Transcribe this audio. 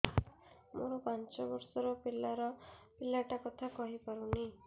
ମୋର ପାଞ୍ଚ ଵର୍ଷ ର ପିଲା ଟା କଥା କହି ପାରୁନି